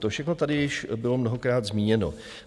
To všechno tady již bylo mnohokrát zmíněno.